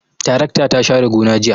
Tarakta ta share gona jiya.